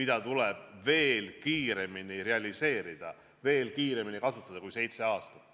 mida tuleb veel kiiremini realiseerida, veel kiiremini kasutada kui seitse aastat.